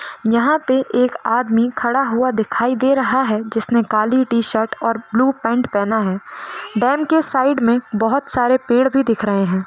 यहां पे एक आदमी खड़ा हुआ दिखायी दे रहा है जिस ने काली टी-शर्ट और ब्लू पेंट पहना है डेम के साइड में बहुत सारे पेड़ भी दिख रहे है।